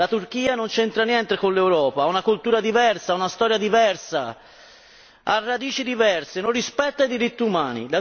La Turchia non c'entra niente con l'Europa, ha una cultura diversa, ha una storia diversa, ha radici diverse, non rispetta i diritti umani.